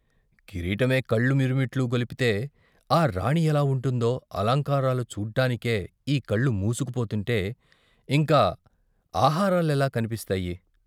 కిరీటమే కళ్ళు మిరు మిట్లు గొల్పితే ఆ రాణి ఎలా ఉంటుందో అలంకారాలు చూడ్డానికే ఈ కళ్లు మూసుకుపోతుంటే ఇంక ఆహారాలేలా కన్పిస్తాయి?